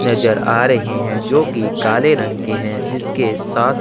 नज़र आ रहे है जो की काले रंग के है जिसके साथ--